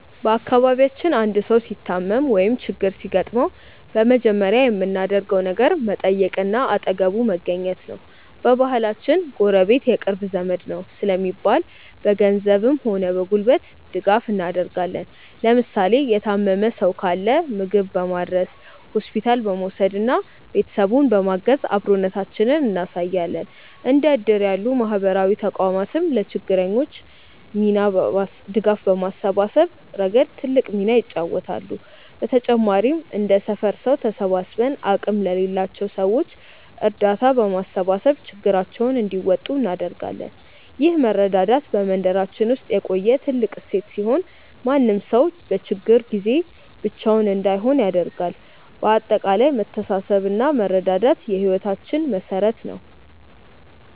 በአካባቢያችን አንድ ሰው ሲታመም ወይም ችግር ሲገጥመው በመጀመሪያ የምናደርገው ነገር መጠየቅና አጠገቡ መገኘት ነው። በባህላችን "ጎረቤት የቅርብ ዘመድ ነው" ስለሚባል፣ በገንዘብም ሆነ በጉልበት ድጋፍ እናደርጋለን። ለምሳሌ የታመመ ሰው ካለ ምግብ በማድረስ፣ ሆስፒታል በመውሰድና ቤተሰቡን በማገዝ አብሮነታችንን እናሳያለን። እንደ እድር ያሉ ማህበራዊ ተቋማትም ለችግረኞች ድጋፍ በማሰባሰብ ረገድ ትልቅ ሚና ይጫወታሉ። በተጨማሪም እንደ ሰፈር ሰው ተሰባስበን አቅም ለሌላቸው ሰዎች እርዳታ በማሰባሰብ ችግራቸውን እንዲወጡ እናደርጋለን። ይህ መረዳዳት በመንደራችን ውስጥ የቆየ ትልቅ እሴት ሲሆን፣ ማንም ሰው በችግር ጊዜ ብቻውን እንዳይሆን ያደርጋል። በአጠቃላይ መተሳሰብና መረዳዳት የህይወታችን መሠረት ነው።